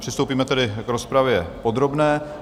Přistoupíme tedy k rozpravě podrobné.